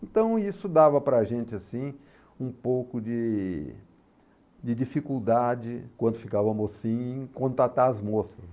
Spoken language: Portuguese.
Então isso dava para a gente, assim, um pouco de de dificuldade quando ficava mocinho em contatar as moças.